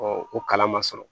o kalan man sɔrɔ